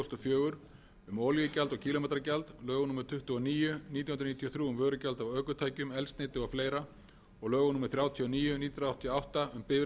fjögur um olíugjald og kílómetragjald lögum númer tuttugu og níu nítján hundruð níutíu og þrjú um vörugjald af ökutækjum eldsneyti og fleiri og lögum númer þrjátíu og níu nítján hundruð áttatíu og átta